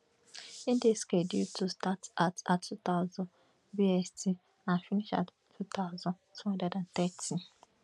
e dey scheduled to start at at two thousand bst and finish at two thousand two hundred and thirty